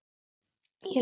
í London.